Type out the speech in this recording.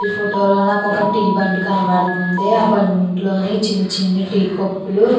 ఈ ఫోటో లో నాకు ఒక టీ బండి కనపడతుంది. ఆ బండిలోనే చిన్ని చిన్ని టీ కప్పు లు --